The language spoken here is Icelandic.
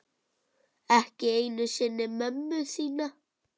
Ekki einu sinni mömmu þína.